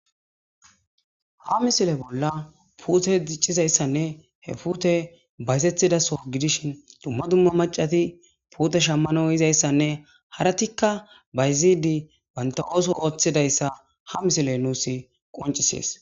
ha misile bolla puute diccizayssanne he pute bayzethidaso gidishin dumma dumma macati puute shammano yizayssanne haratikka bayzidi baynta ooso ooththidayssa ha misile nuus qoncisees